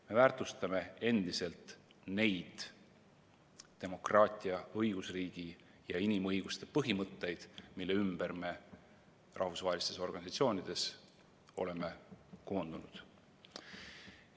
Me väärtustame endiselt neid demokraatia, õigusriigi ja inimõiguste põhimõtteid, mille ümber me rahvusvahelistes organisatsioonides oleme koondunud.